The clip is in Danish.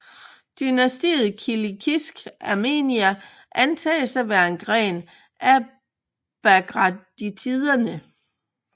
Dynastiet kilikisk Armenia antages at være en gren af bagratiderne